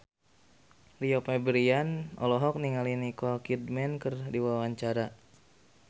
Rio Febrian olohok ningali Nicole Kidman keur diwawancara